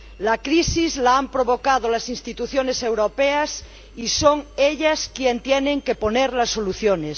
La crisis la han provocado las instituciones europeas, y son ellas quienes tienen que poner las soluciones.